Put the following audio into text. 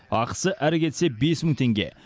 ақысы әрі кетсе бес мың теңге